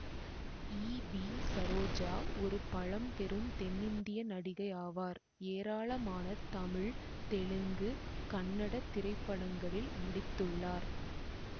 ஈ V Saroja ஒரு பழம்பெரும் தென்னிந்திய நடிகை ஆவார் ஏராளமான தமிழ் தெலுங்கு கன்னட திரைப்படங்களில் நடித்துள்ளார்